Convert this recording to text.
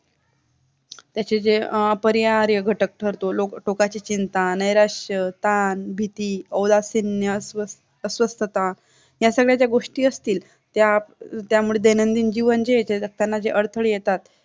त्याचे जे परिहार घटक ठरतो लोक टोकाची चिंता, निराश्य, ताण, भीती, अवलास्य, आणि अस्वस्थता या सगळ्या ज्या गोष्टी असतील त्या त्यामुळे दैनंदिन जीवन जे इथे जगताना जे अडथळे येतात